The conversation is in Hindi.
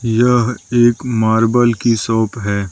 यह एक मार्बल की शॉप है।